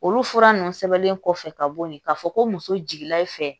Olu fura ninnu sɛbɛnnen kɔfɛ ka bo yen k'a fɔ ko muso jiginna i fɛ